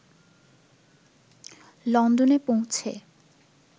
লন্ডনে পৌঁছে